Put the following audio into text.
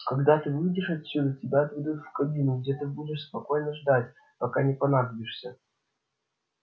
когда ты выйдешь отсюда тебя отведут в кабину где ты будешь спокойно ждать пока не понадобишься